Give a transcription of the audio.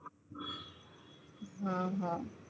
હ હ